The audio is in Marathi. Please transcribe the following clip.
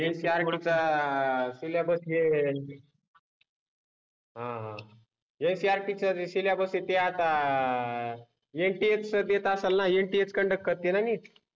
NCERT चा सिलॅबस हे ते NCERT चा सिलॅबस हे ते आता NTA च देत असेल न NTA कन्डक्ट करते न NEET